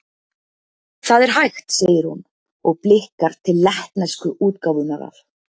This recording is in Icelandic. Það er hægt, segir hún, og blikkar til lettnesku útgáfunnar af